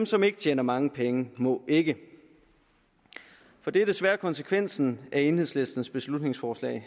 som ikke tjener mange penge må ikke for det er desværre konsekvensen af enhedslistens beslutningsforslag